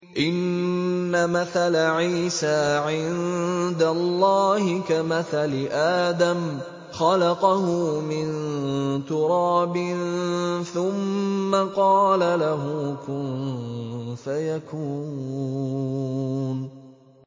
إِنَّ مَثَلَ عِيسَىٰ عِندَ اللَّهِ كَمَثَلِ آدَمَ ۖ خَلَقَهُ مِن تُرَابٍ ثُمَّ قَالَ لَهُ كُن فَيَكُونُ